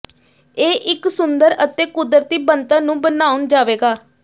ਇਹ ਇੱਕ ਸੁੰਦਰ ਅਤੇ ਕੁਦਰਤੀ ਬਣਤਰ ਨੂੰ ਬਣਾਉਣ ਜਾਵੇਗਾ